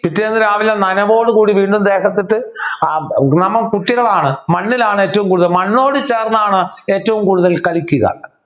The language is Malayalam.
പിറ്റേന്ന് രാവിലെ നനവോടുകൂടി വീണ്ടും ദേഹത്ത് ഇട്ടു ആഹ് നമ്മ കുട്ടികളാണ് മണ്ണിലാണ് ഏറ്റവും കൂടുതൽ മണ്ണോട് ചേർന്നാണ് ഏറ്റവും കൂടുതൽ കളിക്കുക